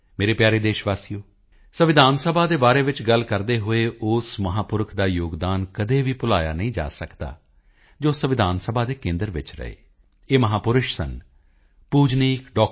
ਮੇਰੇ ਪਿਆਰੇ ਦੇਸ਼ ਵਾਸੀਓ ਸੰਵਿਧਾਨ ਸਭਾ ਦੇ ਬਾਰੇ ਵਿੱਚ ਗੱਲ ਕਰਦਿਆਂ ਉਸ ਮਹਾਂਪੁਰਖ ਦਾ ਯੋਗਦਾਨ ਕਦੇ ਵੀ ਭੁਲਾਇਆ ਨਹੀਂ ਜਾ ਸਕਦਾ ਜੋ ਸੰਵਿਧਾਨ ਸਭਾ ਦੇ ਕੇਂਦਰ ਵਿੱਚ ਰਹੇ ਇਹ ਮਹਾਂਪੁਰਸ਼ ਸਨ ਪੂਜਨੀਕ ਡਾ